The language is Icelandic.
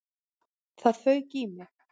Það fauk í mig.